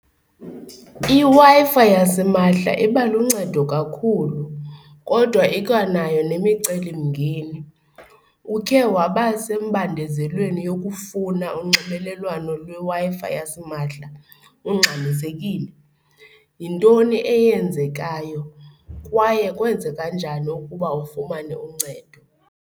IWi-Fi yasimahla iba luncedo kakhulu kodwa ikwanayo nemicelimngeni. Ukhe waba sembandezelweni yokufuna unxibelelwano lweWi-Fi yasimahla ungxamisekile? Yintoni eyenzekayo kwaye kwenzeka njani ukuba ufumane uncedo?